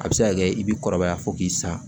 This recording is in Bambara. A bɛ se ka kɛ i bɛ kɔrɔbaya fo k'i sa